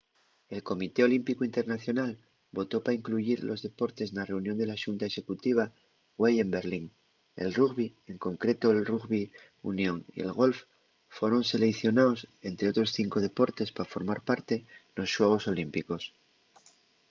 el comité olímpicu internacional votó pa incluyir los deportes na reunión de la xunta executiva güei en berlín el rugbi en concreto'l rugbi union y el golf foron seleicionaos ente otros cinco deportes pa formar parte nos xuegos olímpicos